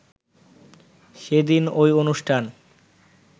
সেদিন ঐ অনুষ্ঠান